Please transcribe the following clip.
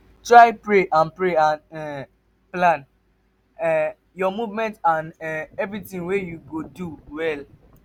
try pray and pray and um plan um your movement and um everything wey you go do well